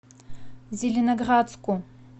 зеленоградску